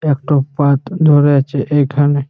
একটা পাত ধরে আছে এইখানে।